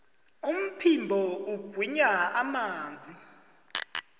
umphimbo ugwinya amanzi